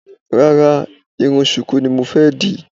Rárá, irun ṣùkú ni mo fẹ́ dì